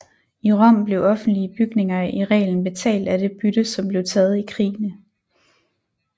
I Rom blev offentlige bygninger i reglen betalt af det bytte som blev taget i krigene